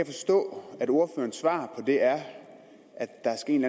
forstå at ordførerens svar på det er at der skal en